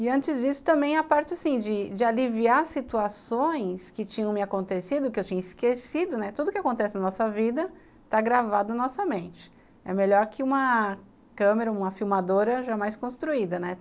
E antes disso, também a parte assim de de aliviar situações que tinham me acontecido, que eu tinha esquecido, né, tudo que acontece na nossa vida está gravado na nossa mente. É melhor que uma câmera, uma filmadora jamais construída, né?